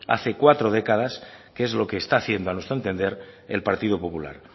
hace cuatro décadas que es lo que está haciendo a nuestro entender el partido popular